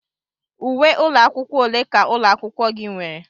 Uwe ụlọ akwụkwọ ole ka ụlọ akwụkwọ gị nwere?